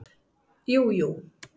Jú, jú